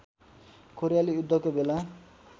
कोरियाली युद्धको बेला